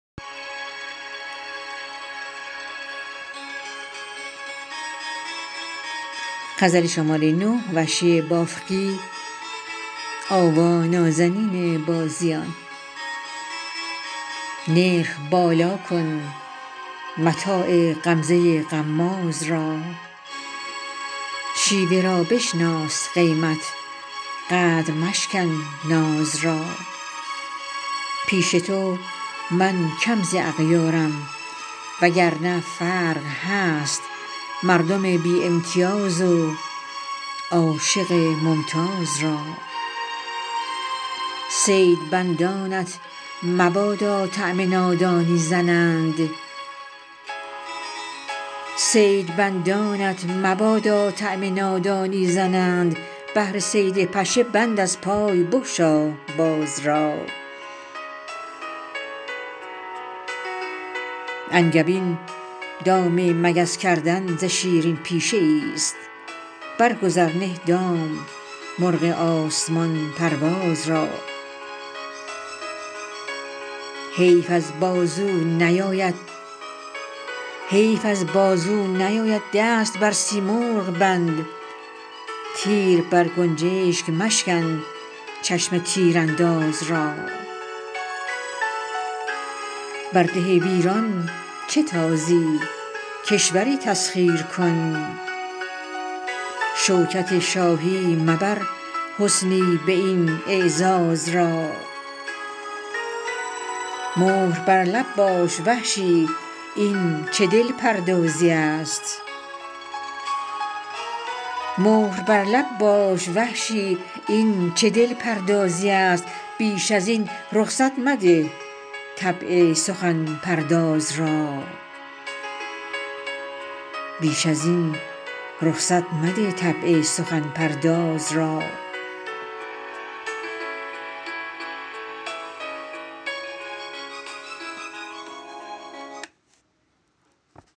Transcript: نرخ بالا کن متاع غمزه غماز را شیوه را بشناس قیمت قدر مشکن ناز را پیش تو من کم ز اغیارم و گرنه فرق هست مردم بی امتیاز و عاشق ممتاز را صید بندانت مبادا طعن نادانی زنند بهر صید پشه بند از پای بگشا باز را انگبین دام مگس کردن ز شیرین پیشه ایست برگذر نه دام مرغ آسمان پرواز را حیف از بازو نیاید دست بر سیمرغ بند تیر بر گنجشگ مشکن چشم تیر انداز را بر ده ویران چه تازی کشوری تسخیر کن شوکت شاهی مبر حسنی به این اعزاز را مهر بر لب باش وحشی این چه دل پردازی است بیش از این رخصت مده طبع سخن پرداز را